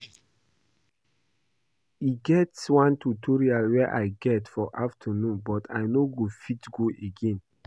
E get one tutorial I get for afternoon but I no go fit go again